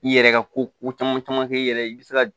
I yɛrɛ ka ko caman caman kɛ i yɛrɛ ye i bɛ se ka